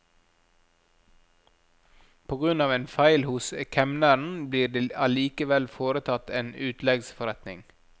På grunn av en feil hos kemneren ble det allikevel foretatt en utleggsforretning.